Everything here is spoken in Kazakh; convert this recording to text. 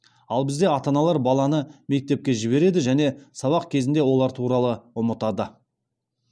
ал бізде ата аналар баланы мектепке жібереді және сабақ кезінде олар туралы ұмытады